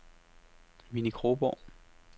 Winnie Kronborg